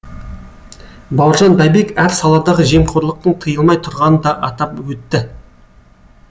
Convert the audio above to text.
бауыржан байбек әр саладағы жемқорлықтың тыйылмай тұрғанын да атап өтті